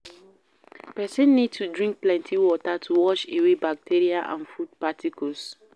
Person need to drink plenty water to wash away bacteria and food particles